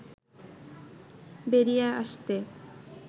বেরিয়ে আসতে